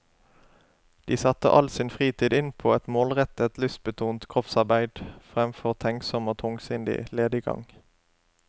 De satte all sin fritid inn på et målrettet, lystbetont kroppsarbeid, fremfor tenksom og tungsindig lediggang.